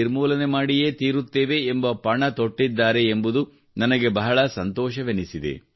ನಿರ್ಮೂಲನೆ ಮಾಡಿಯೇ ತೀರುತ್ತೇವೆ ಎಂಬ ಪಣ ತೊಟ್ಟಿದ್ದಾರೆ ಎಂಬುದು ನನಗೆ ಬಹಳ ಸಂತೋಷವೆನಿಸಿದೆ